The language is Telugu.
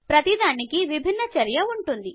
ప్రతి దానికి విభిన్న చర్య ఉంటుంది